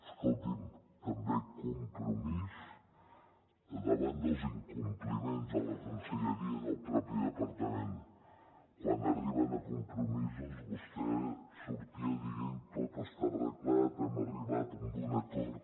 escolti’m també compromís davant dels incompliments de la conselleria i del mateix departament quan arriben a compromisos vostè sortia dient tot està arreglat hem arribat a un acord